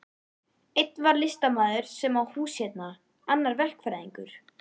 Einn var listamaður sem á hús hérna, annar verkfræðingur.